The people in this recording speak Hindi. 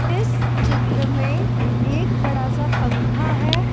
इस चित्र में एक बड़ा सा पंखा है ।